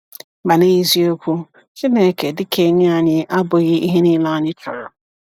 Ma n’eziokwu, Chineke dị ka enyi anyị abụghị ihe niile anyị chọrọ.